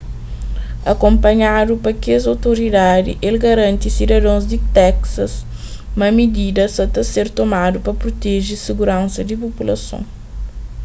akunpanhadu pa kes otoridadi el garanti sidadons di texas ma midida sa ta ser tomadu pa proteje siguransa di populason